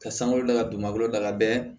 Ka sanga damadɔ da ka bɛn